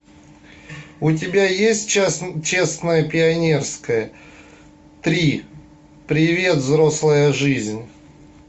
у тебя есть честное пионерское три привет взрослая жизнь